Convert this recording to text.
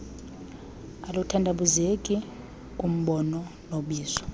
aluthandabuzeki kumbono nobizo